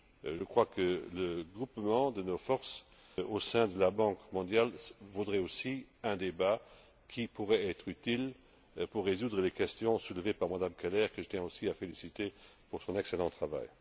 Je crois que le groupement de nos forces au sein de la Banque mondiale mériterait aussi un débat qui pourrait être utile pour résoudre les questions soulevées par Mme Keller, que je tiens aussi à féliciter pour son excellent travail.